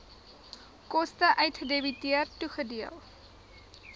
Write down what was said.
koste uitgedebiteer toegedeel